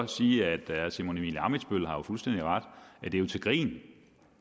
sige at herre simon emil ammitzbøll jo har fuldstændig ret i at det er til grin